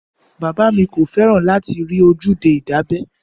Bàbá mi kò fẹ́ràn láti rí ojúde ìdábẹ́